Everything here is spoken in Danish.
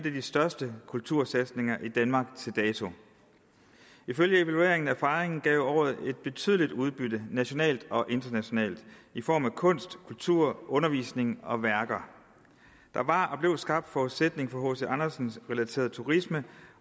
af de største kultursatsninger i danmark til dato ifølge evalueringen af fejringen gav året et betydeligt udbytte nationalt og internationalt i form af kunst kultur undervisning og værker der var og blev skabt forudsætning for hc andersen relateret turisme